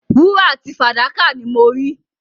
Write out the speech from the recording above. Wúrà àti fàdákà ni mo rí.